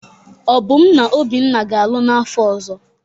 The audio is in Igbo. Obum na Obinna ga-alụ n'afọ ọzọ.